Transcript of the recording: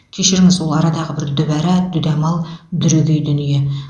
кешіріңіз ол арадағы бір дүбара дүдамал дүрегей дүние